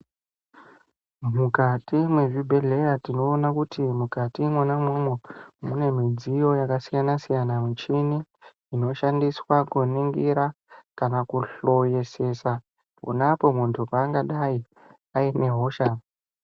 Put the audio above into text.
Mukati mezvibhehleya tinoona kuti mukati Mona imomo mune midziyo yakasiyana siyana michini inoshandiswa kuningira kana kuhloyesesa kudai muntu angadai ane hosha.